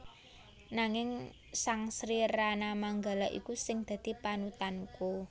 Nanging sang Sri Ranamanggala iku sing dadi panutanku